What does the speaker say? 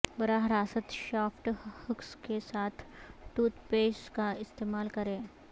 براہ راست shaft hooks کے ساتھ ٹوت پیس کا استعمال کریں